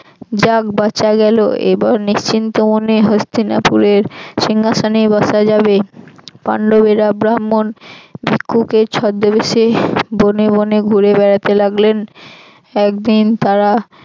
যাক বাঁচা গেল এবার নিশ্চিন্ত মনে হস্তিনাপুরের সিংহাসনে বসা যাবে। পান্ডবেরা ব্রাম্মন ভিক্ষুকের ছদ্মবেশে বনে বনে ঘুরে বেড়াতে লাগলেন। একদিন তারা